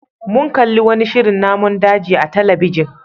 Mun kalli wani shirin namun daji a talabijin.